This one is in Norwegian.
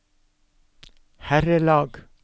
herrelag